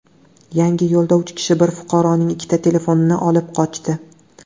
Yangiyo‘lda uch kishi bir fuqaroning ikkita telefonini olib qochdi.